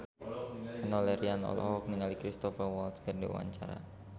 Enno Lerian olohok ningali Cristhoper Waltz keur diwawancara